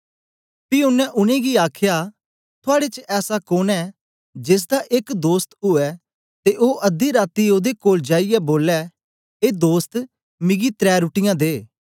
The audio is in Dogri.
पी ओनें उनेंगी आखया थुआड़े च ऐसा कोन ऐं जेसदा एक दोस्त ऊऐ ते ओ अध्दी राती ओदे कोल जाईयै बोलै ए दोस्त मिगी त्रै रुट्टीयाँ दे